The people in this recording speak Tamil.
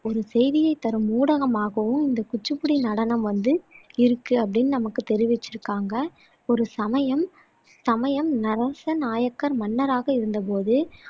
ஒரு செய்தியைத் தரும் ஊடகமாகவும் இந்த குச்சிப்புடி நடனம் வந்து இருக்கு அப்படின்னு நமக்கு தெறிவிச்சிருக்காங்க ஒரு சமயம் சமயம் நரச நாயக்கர் மன்னராக இருந்தபோது